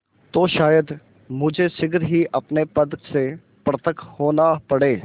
तो शायद मुझे शीघ्र ही अपने पद से पृथक होना पड़े